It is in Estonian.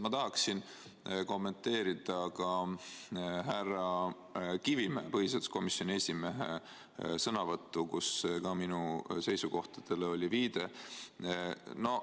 Ma tahaksin kommenteerida ka härra Kivimäe, põhiseaduskomisjoni esimehe sõnavõttu, kus ka minu seisukohtadele oli viide.